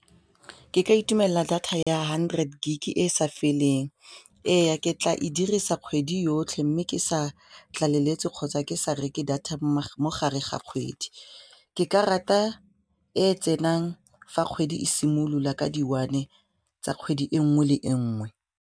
Ke ka itumelela data ya hundred gig e e sa feleng, ee ke tla e dirisa kgwedi yotlhe mme ke sa tlaleletse kgotsa ke sa reke data mo gare ga kgwedi, ke ka rata e tsenang fa kgwedi e simolola ka di one tsa kgwedi e nngwe le e nngwe.